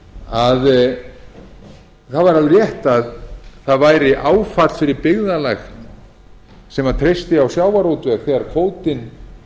að það væri alveg rétt að það væri áfall fyrir byggðarlag sem treysti á sjávarútveg þegar kvótinn